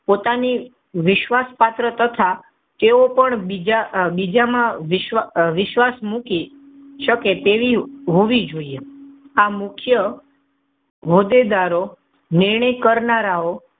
પોતાની વિશ્વાસપાત્ર તથા તેઓ પણ બીજા માં વિશ્વાસ મૂકી શકે તેવી હોવી જોઈએ. આ મુખ્ય હોદ્દેદારો નિર્ણય કરનારાઓ,